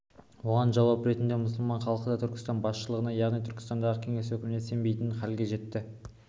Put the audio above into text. оған жауап ретінде мұсылман халқы да түркістан басшыларына яғни түркістандағы кеңес өкіметіне сенбейтін халге жетті